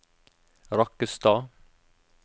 Rakkestad